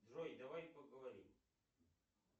джой давай поговорим